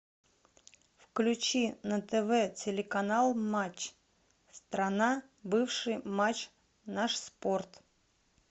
включи на тв телеканал матч страна бывший матч наш спорт